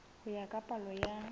ho ya ka palo ya